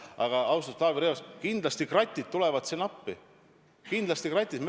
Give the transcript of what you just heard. Aga, austatud Taavi Rõivas, kindlasti kratid tulevad siin appi, kindlasti kratid.